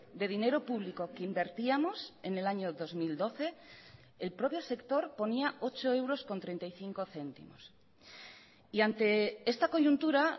de dinero público que invertíamos en el año dos mil doce el propio sector ponía ocho euros con treinta y cinco céntimos y ante esta coyuntura